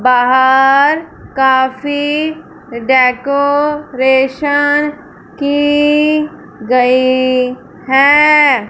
बाहर काफी डेकोरेशन की गई हैं।